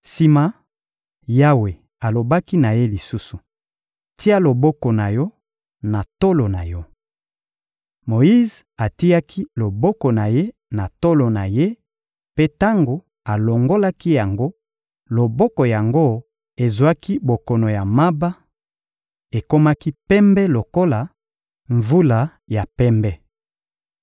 Sima, Yawe alobaki na ye lisusu: — Tia loboko na yo na tolo na yo. Moyize atiaki loboko na ye na tolo na ye; mpe tango alongolaki yango, loboko yango ezwaki bokono ya maba; ekomaki pembe lokola mvula ya pembe.